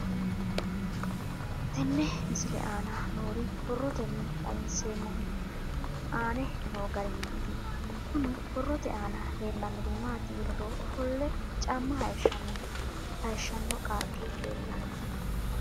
Tenne misile aana noore borroteni xawiseemohu aane noo gariniiti. Kunni borrote aana leelanori maati yiniro Ofolle caama hayishshano qaaqi leelanoe.